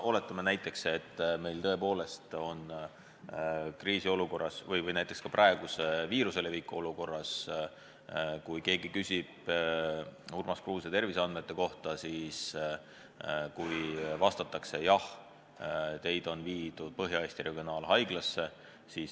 Oletame näiteks, et meil kriisiolukorras, näiteks praeguse viiruse leviku olukorras keegi küsib Urmas Kruuse terviseandmeid ja talle vastatakse, et teid on viidud Põhja-Eesti Regionaalhaiglasse.